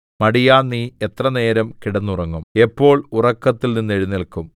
മടിയാ നീ എത്രനേരം കിടന്നുറങ്ങും എപ്പോൾ ഉറക്കത്തിൽ നിന്നെഴുന്നേല്ക്കും